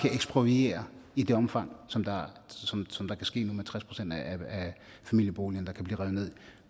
ekspropriere i det omfang som det kan ske nu med tres procent af familieboligerne der kan blive revet ned